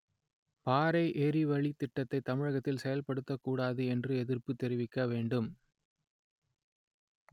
பாறை எரிவளித் திட்டத்தை தமிழகத்தில் செயல்படுத்தக்கூடாது என்று எதிர்ப்பு தெரிவிக்க வேண்டும்